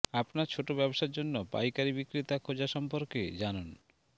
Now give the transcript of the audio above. আপনার ছোট ব্যবসার জন্য পাইকারী বিক্রেতা খোঁজা সম্পর্কে জানুন